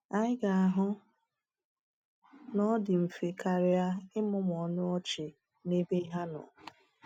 Anyị ga-ahụ na ọ dị mfe karịa ịmụmụ ọnụ ọchị n’ebe ha nọ.